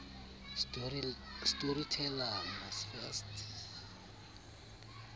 storyteller must first